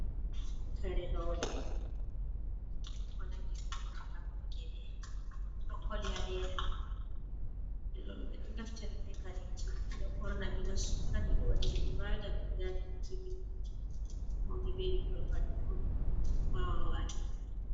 Kare roɓe ko nangi ko riga ko ba gele ɓeɗo koli ha leda. ɓeɗo naftira be kareji ɓeɗo ɓorna ɓeɗo sura ɓeɗo waɗira ibada ɓeɗo yada biki be man, mauɓe be bikkon pat ɗo wawa wata.